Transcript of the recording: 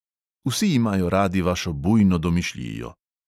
Vsi imajo radi vašo bujno domišljijo.